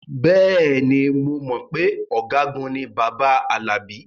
Bẹ́ẹ̀ ni, mo mọ̀ pé ọ̀gágun ni bàbá Alabi